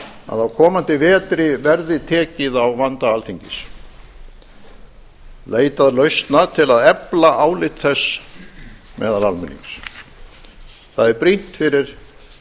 að á komandi vetri verði tekið á vanda alþingis leitað lausna til að efla álit þess meðal almennings það er brýnt fyrir